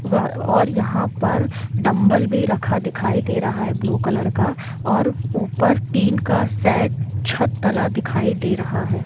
व और यहाँ पर डंबल भी रखा दिखाई दे रहा है ब्लू कलर का और ऊपर टिन का सेट छत डला दिखाई दे रहा है।